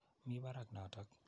Mi parak notok.